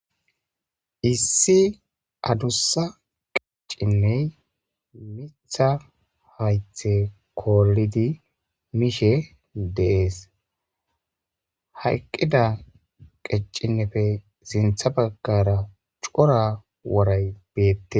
issi adussa qeccinney mitha haythe koolidi mishe dees hayqqida qeccinnefe sintha baggara cora woray beette